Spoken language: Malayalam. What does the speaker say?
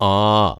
ആ